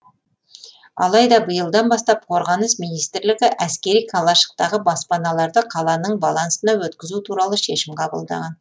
алайда биылдан бастап қорғаныс министрлігі әскери қалашықтағы баспаналарды қаланың балансына өткізу туралы шешім қабылдаған